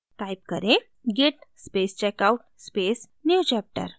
type करें: git space checkout space newchapter